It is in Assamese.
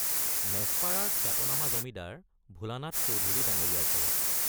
মেচপাৰাৰ খ্যাতনামা জমিদাৰ ভোলানাথ চৌধুৰী ডাঙৰীয়াৰ ঘৰত।